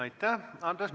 Aitäh!